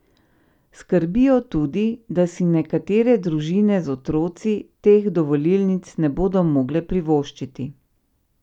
Skrbi jo tudi, da si nekatere družine z otroci teh dovolilnic ne bodo mogle privoščiti.